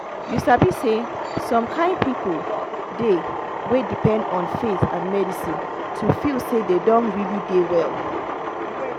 you sabi say some kin people dey wey depend on faith and medicine to feel say dem don really dey well.